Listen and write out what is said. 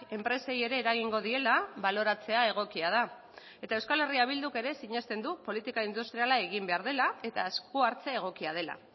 enpresei ere eragingo diela baloratzea egokia da eta euskal herria bilduk ere sinesten du politika industriala egin behar dela eta esku hartze egokia dela